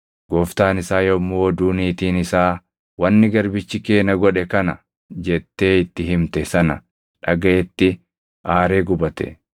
Gooftaan isaa yommuu oduu niitiin isaa, “Wanni garbichi kee na godhe kana” jettee itti himte sana dhagaʼetti aaree gubate.